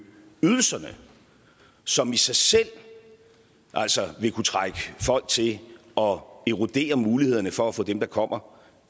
ydelserne som i sig selv vil kunne trække folk til og erodere mulighederne for at få dem der kommer